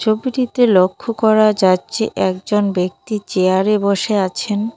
ছবিটিতে লক্ষ করা যাচ্ছে একজন ব্যক্তি চেয়ার এ বসে আছেন।